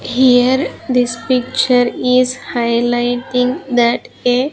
here this picture is highlighting that a --